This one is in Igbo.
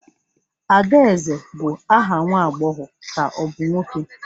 Adaeze bụ aha nwa agbọghọ ka ọ bụ nwoke?